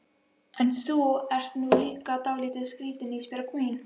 En þú ert nú líka dálítið skrítin Ísbjörg mín.